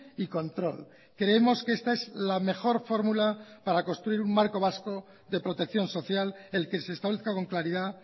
y control creemos que esta es la mejor fórmula para construir un marco vasco de protección social el que se establezca con claridad